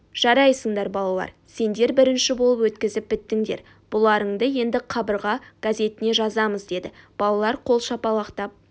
жарайсыңдар балалар сендер бірінші болып өткізіп біттіңдер бұларыңды енді қабырға газетіне жазамыз деді балалар қол шапалақтап